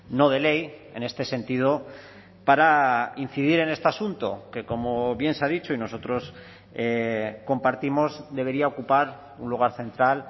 no de ley en este sentido para incidir en este asunto que como bien se ha dicho y nosotros compartimos debería ocupar un lugar central